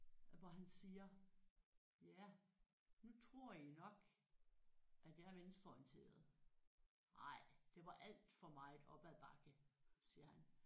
Hvor han siger ja nu tror I nok at jeg er venstreorienteret nej det var alt for meget op ad bakke siger han